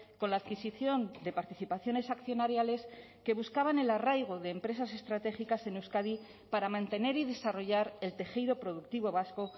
con la adquisición de participaciones accionariales que buscaban el arraigo de empresas estratégicas en euskadi para mantener y desarrollar el tejido productivo vasco